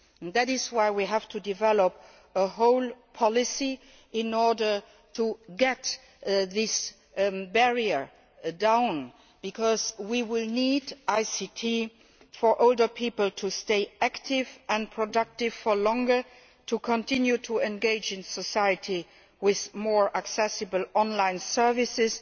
That is why we have to develop a whole policy in order to bring this barrier down, because we will need ICT to enable older people to stay active and productive for longer, to continue to engage in society with more accessible online services,